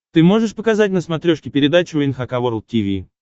ты можешь показать на смотрешке передачу эн эйч кей волд ти ви